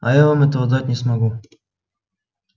а я вам этого дать не могу